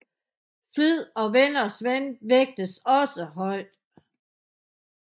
Flid og venners ven vægtes også højt